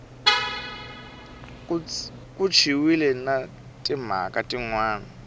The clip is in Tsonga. katsiwile na timhaka tin wana